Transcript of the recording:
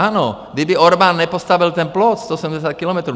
Ano, kdyby Orbán nepostavil ten plot 170 kilometrů...